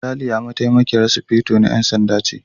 Ralia Mataimakiyar Sufeto na 'Yan Sanda ce.